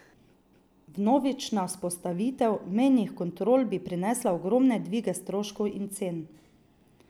Vnovična vzpostavitev mejnih kontrol bi prinesla ogromne dvige stroškov in cen.